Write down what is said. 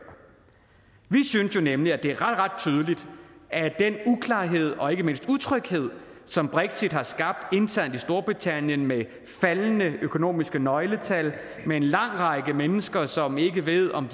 vi synes nemlig at det er ret ret tydeligt at den uklarhed og ikke mindst utryghed som brexit har skabt internt i storbritannien med faldende økonomiske nøgletal med en lang række mennesker som ikke ved om